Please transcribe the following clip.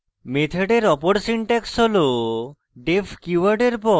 মেথডের অপর syntax হল